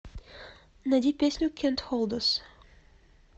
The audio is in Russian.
найди песню кэнт холд ас